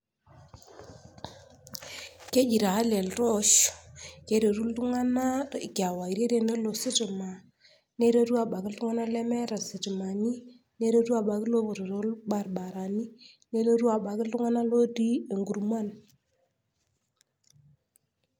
keji taa le iltoosh keretu iltung'anak kewarie tenelo ositima neretu abaki iltung'anak lemeeta sitimani, neretu abiki lopoito too ilbaribarani neretu abaki iltung'anak lootii inkurman